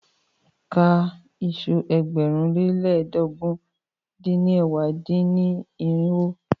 Ka iṣu ẹgbẹ̀rún lé lẹ́ẹdógún dín ní ẹ̀wá dín-ní-irinwó!